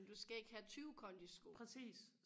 men du skal ikke have tyve kondisko